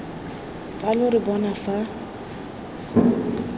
fa lo re bona fa